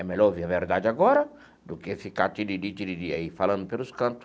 É melhor ouvir a verdade agora do que ficar aí falando pelos canto.